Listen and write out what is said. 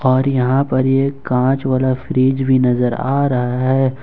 और यहाँ पर ये काँच वाला फ्रीज भी नज़र आ रहा है।